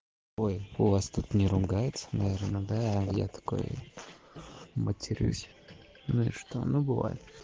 ой у вас тут не ругаются наверно а я такой матерюсь ну и что ну бывает